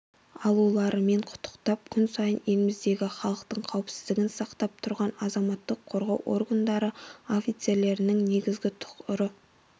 алуларымен құттықтап күн сайын еліміздегі халықтың қауіпсіздігін сақтап тұрған азаматтық қорғау органдары офицерлерінің негізгі тұғыры